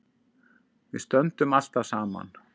Við stöndum alltaf saman